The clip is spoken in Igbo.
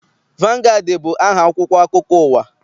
Vangaadị bụ aha akwụkwọ akụkọ ụwa.